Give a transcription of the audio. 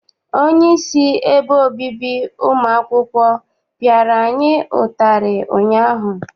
Onyeisi ebe obibi ụmụ akwụkwọ piara anyị ụtarị ụnyaahụ.